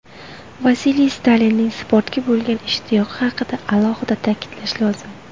Vasiliy Stalinning sportga bo‘lgan ishtiyoqi haqida alohida ta’kidlash lozim.